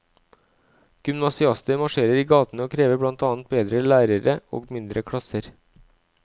Gymnasiaster marsjerer i gatene og krever blant annet bedre lærere og mindre klasser.